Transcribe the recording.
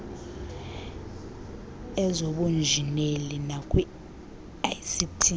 ezobunjineli nakwi ict